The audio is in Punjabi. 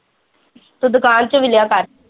ਤੂੰ ਦੁਕਾਨ ਚ ਵਿਲਿਆ ਕਰ।